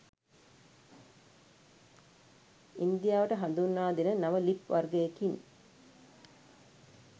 ඉන්දියාවට හඳුන්වා දෙන නව ලිප් වර්ගයකින්